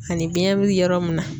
Ani biɲɛ be yɔrɔ mun na.